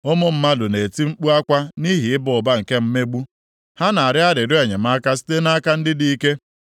“Ụmụ mmadụ na-eti mkpu akwa nʼihi ịba ụba nke mmegbu, ha na-arịọ arịrịọ enyemaka site nʼaka ndị dị ike.